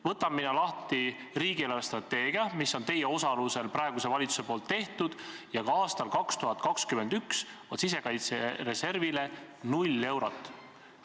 Võtan mina lahti riigi eelarvestrateegia, mis on teie osalusel praeguse valitsuse tehtud: ka aastal 2021 on sisekaitsereservile ette nähtud 0 eurot.